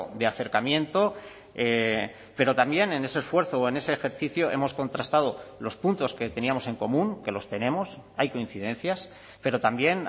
de acercamiento pero también en ese esfuerzo o en ese ejercicio hemos contrastado los puntos que teníamos en común que los tenemos hay coincidencias pero también